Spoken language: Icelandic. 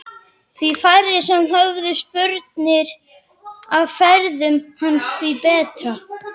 Því færri sem höfðu spurnir af ferðum hans því betra.